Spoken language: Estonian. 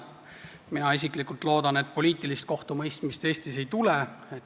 Mina isiklikult loodan, et poliitilist kohtumõistmist Eestis ei tule.